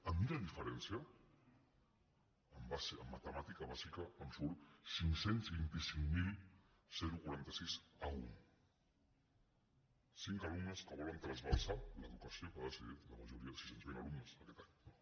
a mi la diferència en matemàtica bàsica em surt cinc cents i vint cinc mil quaranta sis a un cinc alumnes que volen trasbalsar l’educació que ha decidit la majoria sis cents miler alumnes aquest any